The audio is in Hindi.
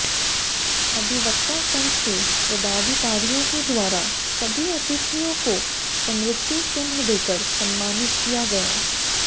अधिवक्ता संघ के पदाधिकारियों के द्वारा सभी अतिथियों को स्मृति चिन्ह देकर सम्मानित किया गया